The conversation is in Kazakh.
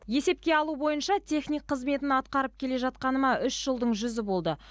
есепке алу бойынша техник қызметін атқарып келе жатқаныма үш жылдың жүзі болды